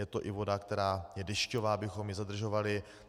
Je to i voda, která je dešťová, abychom ji zadržovali.